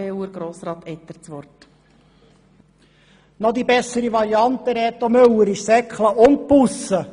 Reto Müller, die noch bessere Variante wäre «seckle» und Busse!